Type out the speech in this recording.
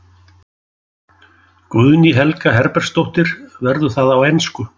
Guðný Helga Herbertsdóttir: Verður það á ensku?